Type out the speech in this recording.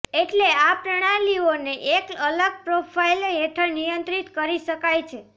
એટલે આ પ્રણાલીઓને એક અલગ પ્રોફાઇલ હેઠળ નિયંત્રિત કરી શકાય છે